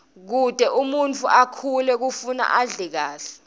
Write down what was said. kute umuntfu akhule kufuna adle kahle